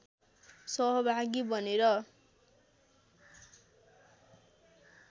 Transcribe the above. सहभागी बनेर